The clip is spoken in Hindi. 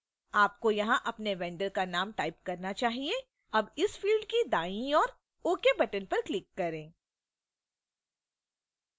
आपको यहां अपने vendor का name type करना चाहिए अब इस field की दाईं ओर ok button पर click करें